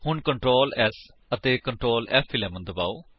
ਹੁਣ Ctrl S ਅਤੇ Ctrl ਫ਼11 ਦਬਾਓ